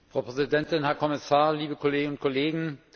Frau Präsidentin, Herr Kommissar, liebe Kolleginnen und Kollegen!